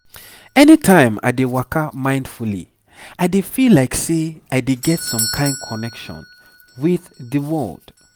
anytime i dey waka mindfully i dey feel like say i dey get some kain connection with di world